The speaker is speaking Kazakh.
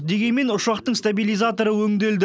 дегенмен ұшақтың стабилизаторы өңделді